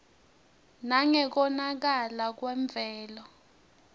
nangekonakala kwemvelo